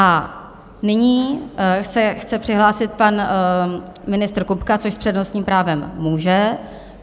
A nyní se chce přihlásit pan ministr Kupka, což s přednostním právem může.